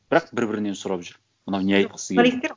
бірақ бір бірінен сұрап жүр мынау не айтқысы келді